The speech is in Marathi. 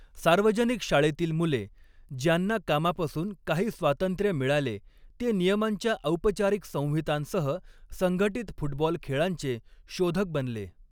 सार्वजनिक शाळेतील मुले, ज्यांना कामापासून काही स्वातंत्र्य मिळाले, ते नियमांच्या औपचारिक संहितांसह संघटित फुटबॉल खेळांचे शोधक बनले.